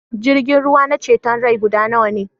Jirgin ruwa na ceton rai guda nawa ne?